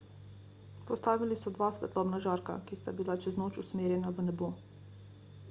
postavili so dva svetlobna žarka ki sta bila čez noč usmerjena v nebo